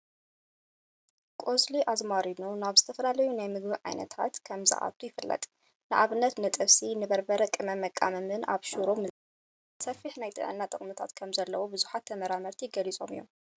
ቆፅሊ ኣዝመሪኖ ናብ ዝተፈላለዩ ናይ ምግቢ ኣይነታት ከም ዝዓትው ይፍለጥ። ንኣብነት ንጥብሲ፣ ንበርበረ ቅመም መቃመሚን ኣብ ሽሮ ምዝግጃውን ንጥቀመሉ። ከምኡውን መጠነ ሰፊሕ ናይ ጥዕና ጥቅምታት ከም ዘለዎ ብዙሓት ተመራመርቲ ገሊፆም እዮም።